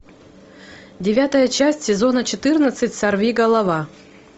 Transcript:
девятая часть сезона четырнадцать сорвиголова